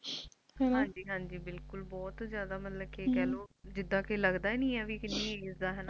ਹਾਂਜੀ ਹਾਂਜੀ, ਬਿਲਕੁਲ ਬਹੁਤ ਹੀ ਜ਼ਿਆਦਾ ਮਤਲਬ ਕੀਹਲੋ, ਜਿਦਾ ਕਿ ਲੱਗਦਾ ਹੀ ਨਹੀਂ ਹੈ ਕਿ ਕਿੰਨੀ Age ਦਾ ਹੈ।